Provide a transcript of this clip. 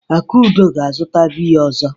Akudo ga-azụta biya ọzọ.